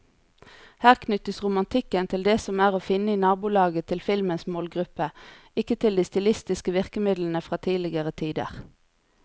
Her knyttes romantikken til det som er å finne i nabolaget til filmens målgruppe, ikke til de stilistiske virkemidlene fra tidligere tider.